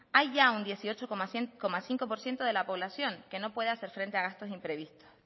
hay ya un dieciocho coma cinco por ciento de la población que no puede hacer frente a gastos imprevistos